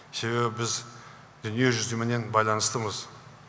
себебі біз дүниежүзіменен байланыстымыз